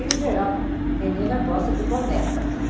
Em geral, menina gosta de boneca, né?